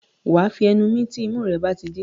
Wà á fi ẹnu mí tí imú rẹ̀ bá ti dí.